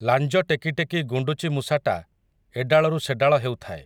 ଲାଞ୍ଜ ଟେକିଟେକି ଗୁଣ୍ଡୁଚିମୂଷାଟା, ଏଡାଳରୁ ସେଡାଳ ହେଉଥାଏ ।